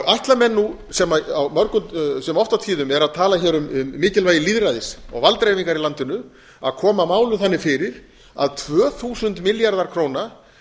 ætla menn nú sem oft á tíðum eru að tala hér um mikilvægi lýðræðis og valddreifingar í landinu að koma málum þannig fyrir að tvö þúsund milljarðar króna